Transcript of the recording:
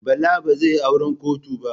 Bala ba zai yi auran kotu ba.